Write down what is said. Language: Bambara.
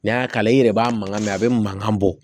N'i y'a kala i yɛrɛ b'a mankan mɛn a bɛ mankan bɔ